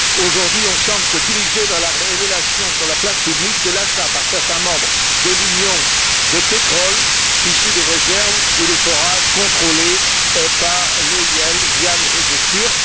Aujourd'hui, on semble se diriger vers la révélation sur la place publique de l'achat par certains membres de l'Union de pétrole issu des réserves où des forages contrôlés par l'EIIL via les réseaux turcs.